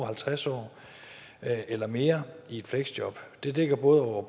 halvtreds år eller mere i et fleksjob det dækker både over